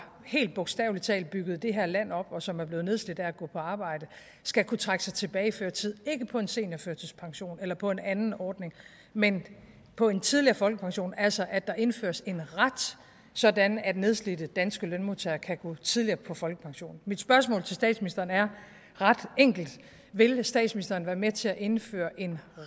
helt bogstavelig talt har bygget det her land op og som er blevet nedslidt af at gå på arbejde skal kunne trække sig tilbage før tid ikke på en seniorførtidspension eller på en anden ordning men på en tidligere folkepension altså at der indføres en ret sådan at nedslidte danske lønmodtagere kan gå tidligere på folkepension mit spørgsmål til statsministeren er ret enkelt vil statsministeren være med til at indføre en